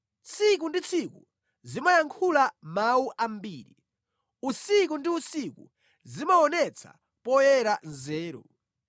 Tsiku ndi tsiku zimayankhula mawu ambiri, usiku ndi usiku zimaonetsa poyera nzeru.